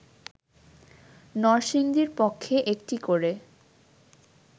নরসিংদীর পক্ষে একটি করে